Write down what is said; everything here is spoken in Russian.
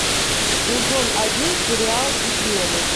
сезон один сериал измены